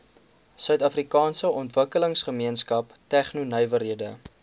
suidafrikaanse ontwikkelingsgemeenskap tegnonywerhede